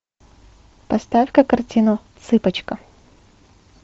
поставь ка картину цыпочка